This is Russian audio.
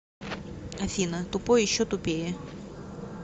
афина тупой еще тупее